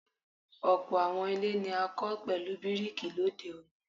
ọ̀pọ̀ àwọn ilé ní a kọ pẹlu bíríkì lòde òní